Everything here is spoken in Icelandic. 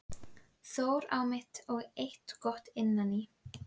Þór á mitt og eitthvað gott innan í.